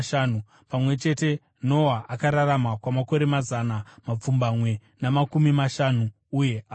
Pamwe chete, Noa akararama kwamakore mazana mapfumbamwe namakumi mashanu, uye akafa.